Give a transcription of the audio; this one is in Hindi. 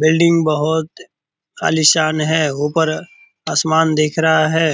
बिल्डिंग बहुत आलिशान है। ऊपर आसमान दिख रहा है।